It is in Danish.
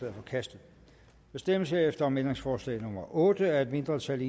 er forkastet der stemmes herefter om ændringsforslag nummer otte af et mindretal